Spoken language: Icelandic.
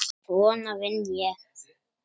Svona vinn ég.